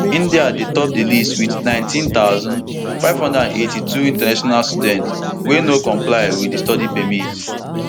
indiadey top di list wit nineteen thousand, five hundred and eighty-two international students wey no comply wit di study permit